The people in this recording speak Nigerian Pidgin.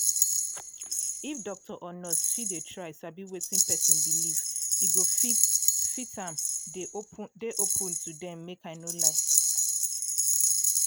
if doctor or nurse fit dey try sabi wetin person believe e go fit fit am dey open to dem make i no lie